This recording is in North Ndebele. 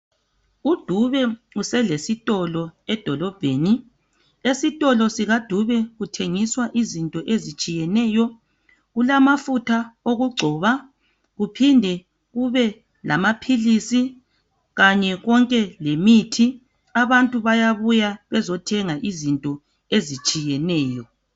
UDube uselesitolo edolobheni. Esitolo sikaDube kuthengiswa izinto ezitshiyeneyo. Kulamafutha okugcoba, kuphinde kube lamaphilisi. Kanye konke lemithi. Abantu bayabuya bezothenga izinto ezitshiyeneyo.